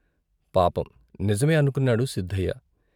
పాపం నిజమే అనుకున్నాడు సిద్ధయ్య.